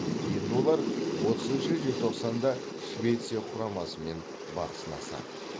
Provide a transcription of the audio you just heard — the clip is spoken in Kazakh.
енді олар отызыншы желтоқсанда швеция құрамасымен бақ сынасады